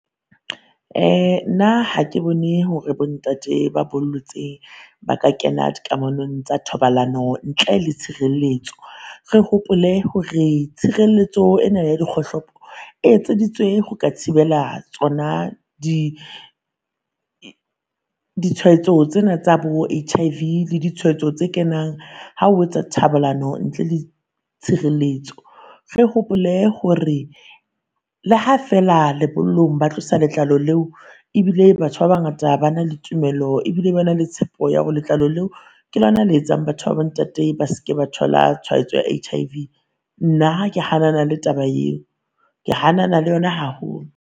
Uh nna ha ke bone hore bo ntate ba bollotse ba ka kena di kamanong tsa thobalano ntle le tshireletso. Re hopole hore tshireletso ena ya dikgohlopo e etseditswe ho ka thibela tsona di ditshwaetso tsena tsa bo HIV le ditshwaetso tse kenang ha o etsa thobalano ntle le tshireletso. Re hopole hore le ha feela lebollong ba tlosa letlalo leo ebile batho ba bangata ba na le tumelo ebile ba na le tshepo ya hore letlalo leo ke lona le etsang batho ba bo ntate ba seke ba thola tshwaetso ya HIV. Nna ke hanana le taba eo, ke hanana le yona haholo.